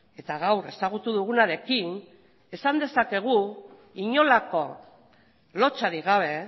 eta gaur ezagutu dugunarekin esan dezakegu inolako lotsarik gabe